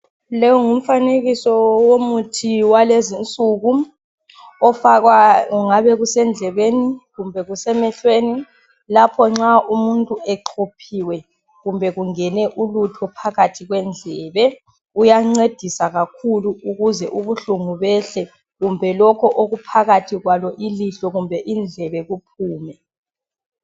Lo ngumfanekiso womuthi walezinsuku ofakwa kungabe kusendlebeni kumbe kusemehlweni lapho nxa umuntu exhophiwe kumbe kungene ulutho phakathi kwendlebe. Uyancedisa kakhulu ukuze ubuhlungu behle kumbe lokho okuphakathi kwalo ilihlo kumbe indlebe kuphume.